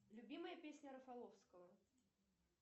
любимая песня рафаловского